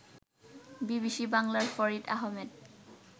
BBC বাংলার ফরিদ আহমেদ